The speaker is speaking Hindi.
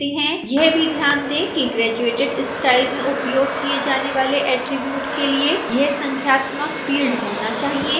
यह भी ध्यान दें कि graduated स्टाइल में उपयोग किए जाने वाले एट्रिब्यूट के लिए यह संख्यात्मक फील्ड होना चाहिए